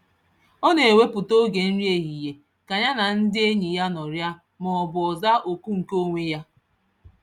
Ọ na-ewepụta oge nri ehihie ka ya na ndị enyi ya nọrịa maọbụ ọ zaa oku nke onwe ya.